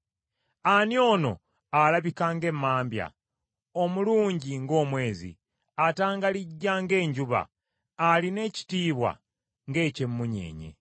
Ani ono alabika ng’emmambya, omulungi ng’omwezi, atangalijja ng’enjuba, alina ekitiibwa ng’eky’emunnyeenye?